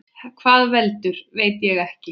Hvað veldur, veit ég ekki.